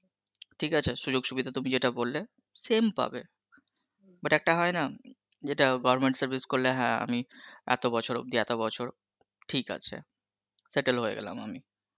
ঠিক আছে সুযোগ সুবিধা তুমি যেটা বললে same পাবে, but একটা হয়েনা যেটা government service করলে হ্যাঁ আমি এত বছর অব্দি এত বছর ঠিক আছে settle হয়েগেলাম আমি